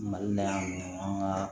Mali la yan an ka